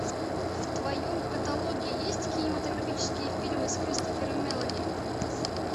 в твоем каталоге есть кинематографические фильмы с кристофером мелони